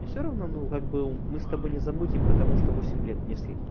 мне все равно ну как бы мы с тобой не замутим потому что восемь лет мне светит